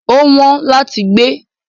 Ó wọ́n láti gbé.